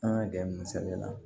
An ka gɛrɛ nin sɛbɛn la